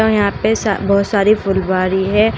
यहां पे सा बहोत सारी फुलवारी है।